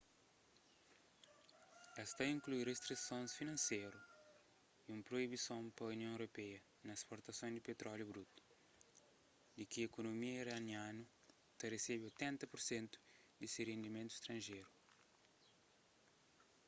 es ta inklui ristrisons finanseru y un proibison pa union europeia na sportason di petróliu brutu di ki ikunomia iranianu ta resebe 80% di se rendimentu stranjeru